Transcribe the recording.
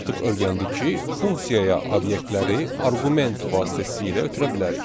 Biz artıq öyrəndik ki, funksiyaya obyektləri arqument vasitəsilə ötürə bilərik.